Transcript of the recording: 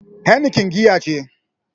Heineken giya ce.